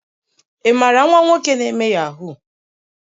imara nwa nwoke na eme yahoo?